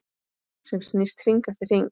Sem snýst hring eftir hring.